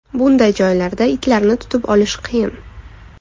Bunday joylarda itlarni tutib olish qiyin.